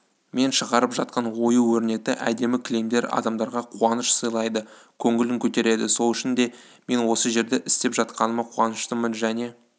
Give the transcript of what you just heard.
мен шығарып жатқан ою-өрнекті әдемі кілемдер адамдарға қуаныш сыйлайды көңілін көтереді сол үшін де мен осы жерде істеп жатқаныма қуаныштымын және